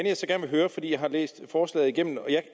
jeg så gerne vil høre for jeg har læst forslaget igennem og